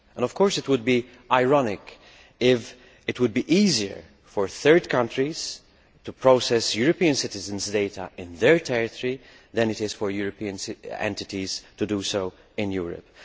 Of course, it would be ironic if it were easier for third countries to process European citizens' data in their territory than for European entities to do so in Europe.